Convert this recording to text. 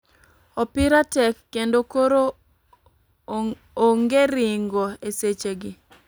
Opira tek kendo koro ong'e ringo e seche gi.